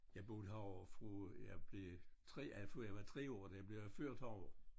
Jeg boede herovre fra jeg blev 3 af fra jeg var 3 år da jeg blev ført herovre